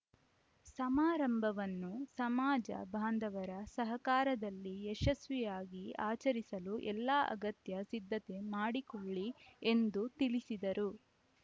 ಸಮಾರಂಭವನ್ನು ಸಮಾಜ ಬಾಂಧವರ ಸಹಕಾರದಲ್ಲಿ ಯಶಸ್ವಿಯಾಗಿ ಆಚರಿಸಲು ಎಲ್ಲಾ ಅಗತ್ಯ ಸಿದ್ಧತೆ ಮಾಡಿಕೊಳ್ಳಿ ಎಂದು ತಿಳಿಸಿದರು